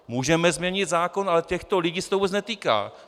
Můžeme změnit zákon, ale těchto lidí se to vůbec netýká.